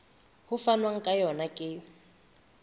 ho fanwang ka yona ke